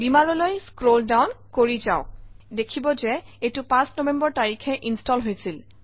Beamer অলৈ scroll down কৰি যাওক দেখিব যে এইটো ৫ নৱেম্বৰ তাৰিখে ইনষ্টল হৈছিল